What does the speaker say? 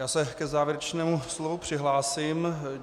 Já se k závěrečnému slovu přihlásím.